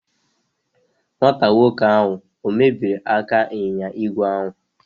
Nwata nwoke ahụ ọ̀ mebiri aka ịnyịnya ígwè ahụ?